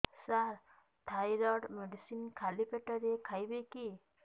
ସାର thyroid medicine ଖାଲି ପେଟରେ ଖାଇବି କି